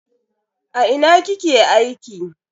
A ina kike aiki?